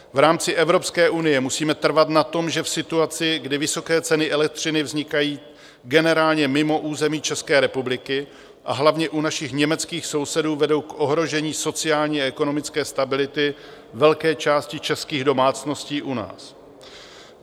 V rámci Evropské unie musíme trvat na tom, že v situaci, kdy vysoké ceny elektřiny vznikají generálně mimo území České republiky a hlavně u našich německých sousedů, vedou k ohrožení sociální a ekonomické stability velké části českých domácností u nás.